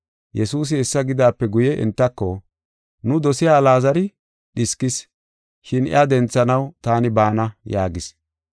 Yesuusi hessa gidaape guye entako, “Nu dosiya Alaazari dhiskis, shin iya denthanaw taani baana” yaagis.